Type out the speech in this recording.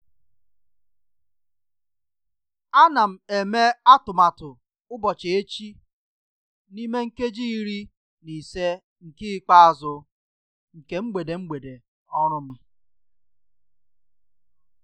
A na m eme atụmatụ ụbọchị echi n'ime nkeji iri na ise nke ikpeazụ nke mgbede mgbede ọrụ m.